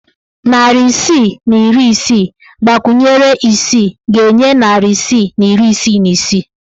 Narị isii na iri isii gbakwunyere isii ga-enye narị isii na iri isii na isii.